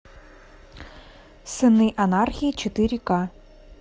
сыны анархии четыре к